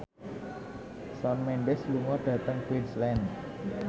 Shawn Mendes lunga dhateng Queensland